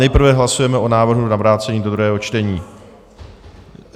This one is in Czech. Nejprve hlasujeme o návrhu na vrácení do druhého čtení.